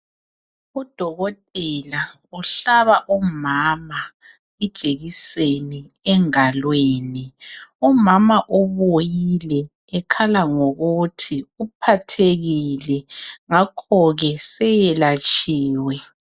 Udokotela ohlaba umama ijekiseni engalweni umama ubuyile ekhala ngokuthi uphathekile ngakhoke seyelatshiwe